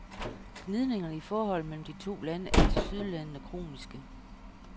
Gnidningerne i forholdet mellem de to lande er tilsyneladende kroniske.